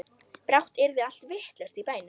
Brátt yrði allt vitlaust í bænum.